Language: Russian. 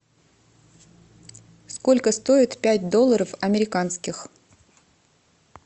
сколько стоит пять долларов американских